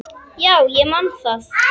Já, ég man það.